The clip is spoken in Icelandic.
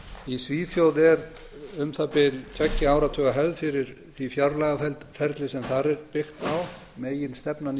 í svíþjóð er um það bil tveggja áratuga hefð fyrir því fjárlagaferli sem þar er byggt á meginstefnan í